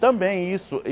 Também isso.